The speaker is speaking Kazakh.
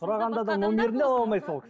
сұрағанда да номерін де ала алмайсың